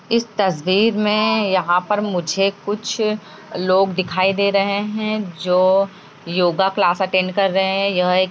इस तस्वीर में यहाँ पर मुझे कुछ लोग दिखाई दे रहे हैं जो योगा क्लास अटेंड कर रहे हैं । यह एक --